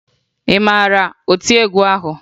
Ị mara maka otiegwu ahụ?